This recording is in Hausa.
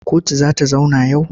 Kotu za ta zauna yau?